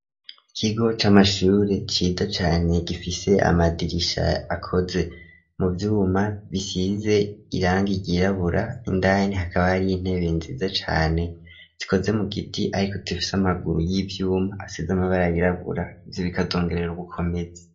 Ikigo c' amashure cida cane gifise amadirisha akoze mu vyuma bisize iranga iyirabura indani hakaba ari intebe nziza cane zikoze mu giti, ariko tufise amaguru y'ivyuma asize amabara yirabura ivyo bikadongerera ubukomezi.